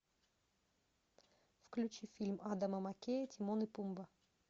включи фильм адама маккея тимон и пумба